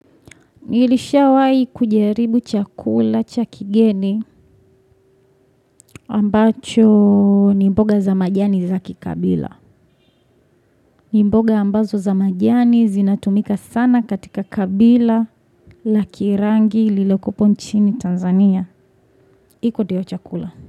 Nilishawahi kujaribu chakula cha kigeni ambacho ni mboga za majani za kikabila. Ni mboga ambazo za majani zinatumika sana katika kabila la kirangi lililopo nchini Tanzania. Iko dio chakula.